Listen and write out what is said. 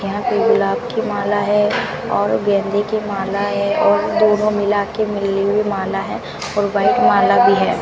यहां पे गुलाब की माला है और गेंदे की माला है और दोनों मिलाके मिली हुई माल है और व्हाइट माला भी है।